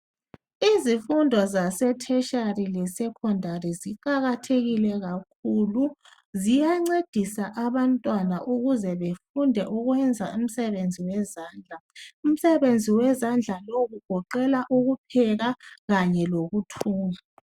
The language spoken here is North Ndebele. Izifundo zase "Tertiary " leSekhondari ziqakathekile kakhulu ziyancedisa abantwana ukuze befunde ukwenza umsebenzi wezandla .Umsebenzi wezandla lowu ugoqela ukupheka kanye lokuthunga .